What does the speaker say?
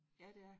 Ja det er